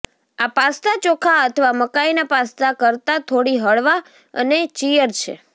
આ પાસ્તા ચોખા અથવા મકાઈના પાસ્તા કરતાં થોડી હળવા અને ચીયર છે